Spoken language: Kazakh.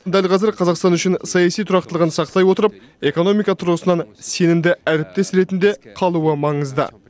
дәл қазір қазақстан үшін саяси тұрақтылығын сақтай отырып экономика тұрғысынан сенімді әріптес ретінде қалуы маңызды